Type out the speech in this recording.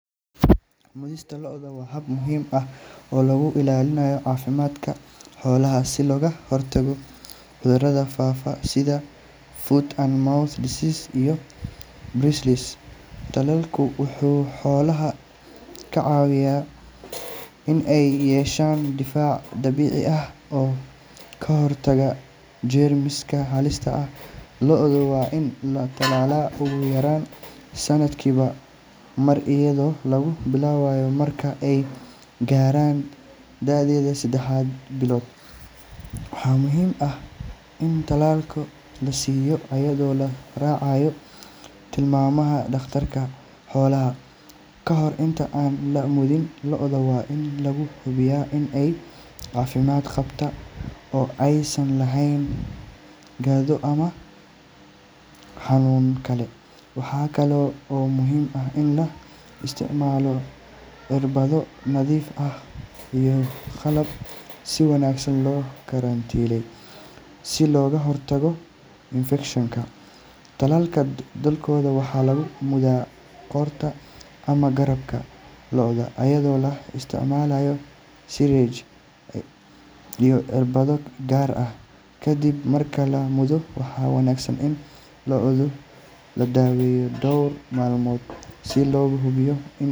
Mudista lo’da waa hab muhiim ah oo lagu ilaalinayo caafimaadka xoolaha si looga hortago cudurrada faafa sida foot and mouth disease iyo brucellosis. Tallaalku wuxuu xoolaha ka caawiyaa in ay yeeshaan difaac dabiici ah oo ka hortaga jeermiska halista ah. Lo’da waa in la tallaalaa ugu yaraan sanadkiiba mar, iyadoo lagu bilaabo marka ay gaaraan da’da saddex bilood. Waxaa muhiim ah in tallaalka la siiyo iyadoo la raacayo tilmaamaha dhakhtarka xoolaha. Kahor inta aan la mudin, lo’da waa in la hubiyaa in ay caafimaad qabaan oo aysan lahayn qandho ama xanuun kale. Waxa kale oo muhiim ah in la isticmaalo irbado nadiif ah iyo qalab si wanaagsan loo karantiilay si looga hortago infekshan. Tallaalada badankood waxaa lagu mudaa qoorta ama garabka lo’da iyadoo la isticmaalayo syringe iyo irbado gaar ah. Ka dib marka la mudo, waxaa wanaagsan in lo’da la daawado dhowr maalmood si loo hubiyo in.